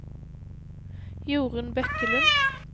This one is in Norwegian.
Jorun Bekkelund